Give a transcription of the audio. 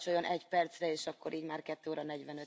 Frau Präsidentin, liebe Kolleginnen und Kollegen!